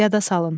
Yada salın.